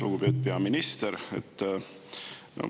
Lugupeetud peaminister!